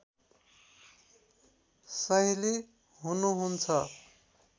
साहिँली हुनुहुन्छ